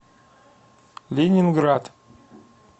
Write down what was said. ленинград